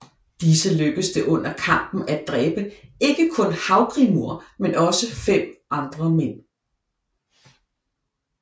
Disse lykkedes det under kampen at dræbe ikke kun Havgrímur men også fem andre mænd